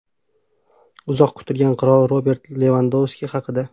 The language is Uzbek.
Uzoq kutilgan qirol Robert Levandovski haqida.